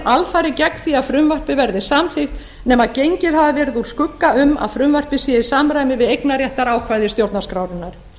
alfarið gegn því að frumvarpið verði samþykkt nema gengið hafi verið úr skugga um að frumvarpið sé í samræmi við eignarréttarákvæði stjórnarskrárinnar